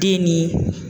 Den ni